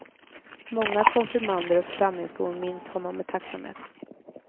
Många konfirmander och församlingsbor minns honom med tacksamhet.